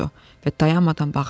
Və dayanmadan bağırırdı.